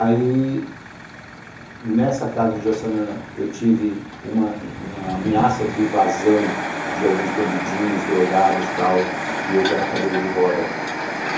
Aí, nessa casa do Jaçanã, eu tive uma ameaça de invasão de alguns bandidinhos, drogados e tal, e eu já na cadeira de roda.